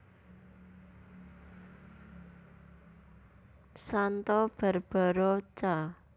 Santa Barbara Ca